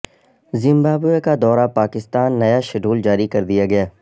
Zimbabwe کا دورہ پاکستان نیا شیڈول جاری کردیا گیا